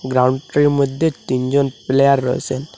গ্রাউন্ডটির মধ্যে তিনজন প্লেয়ার রয়েছে।